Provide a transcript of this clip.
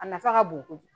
A nafa ka bon kojugu